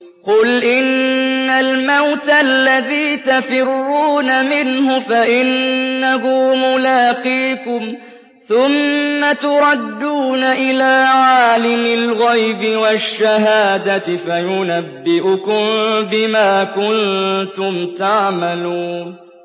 قُلْ إِنَّ الْمَوْتَ الَّذِي تَفِرُّونَ مِنْهُ فَإِنَّهُ مُلَاقِيكُمْ ۖ ثُمَّ تُرَدُّونَ إِلَىٰ عَالِمِ الْغَيْبِ وَالشَّهَادَةِ فَيُنَبِّئُكُم بِمَا كُنتُمْ تَعْمَلُونَ